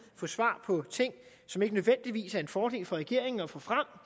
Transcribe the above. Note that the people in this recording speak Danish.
få svar på ting som ikke nødvendigvis er en fordel for regeringen at få frem